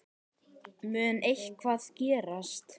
Mun eitthvað gerast?